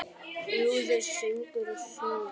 Brúður, söngur og sögur.